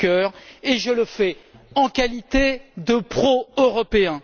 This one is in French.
Juncker et je le fais en qualité de pro européen.